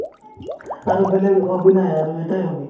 আৰু বেলেগ hobby নাই আৰু এটায়ে hobby